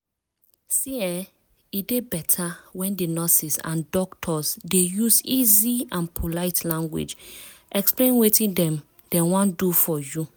see[um]e dey beta when di nurses and doctors dey use easy and polite language explain wetin dem dem wan do for you.